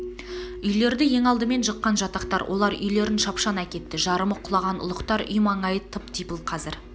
үйлерді ең алдымен жыққан жатақтар олар үйлерін шапшаң әкетті жарымы құлаған ұлықтар үй маңайы тып-типыл қазір